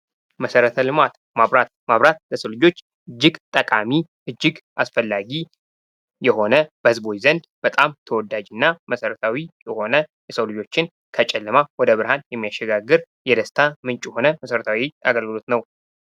መሠረተ ልማት ማብራት ማብራት ለሰው ልጆች እጅግ ጠቃሚ እጅግ አስፈላጊ የሆነ በሕዝቡ ዘንድ በጣም ተወዳጅ እና መሰረታዊ የሆነ የሰው ልጆችን ከጨለማ ወደ ብርሃን የሚያሸጋግር የደስታ ምንጭ የሆነ መሰረታዊ አገልግሎት ነው።